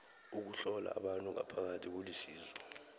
ukuhlola abantu ngaphakathi kulisizo